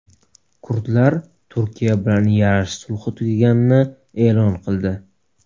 Kurdlar Turkiya bilan yarash sulhi tugaganini e’lon qildi.